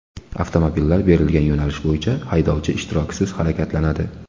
Avtomobillar berilgan yo‘nalish bo‘yicha haydovchi ishtirokisiz harakatlanadi.